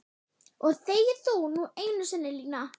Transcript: Og þegi þú nú einu sinni Lína!